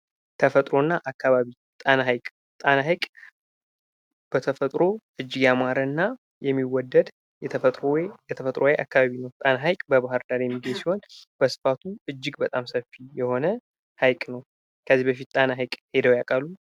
ተፈጥሮ እና አካባቢ ጣና ሃይቅ ጣና ሃይቅ በተፈጥሮው እጅግ ያማረ እና የሚወደድ የተፈጥሮ ወይም የተፈጥሮ አካባቢ ነው። ጣና ሃይቅ በባህር ዳር የሚገኝ ሲሆን ስፋቱም እጅግ በጣም ሰፊ የሆነ ሃይቅ ነው። ከዚ በፊት ጣና ሃይቅ ሄደው ያውቃሉ?